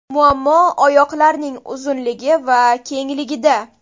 Muammo oyoqlarning uzunligi va kengligida.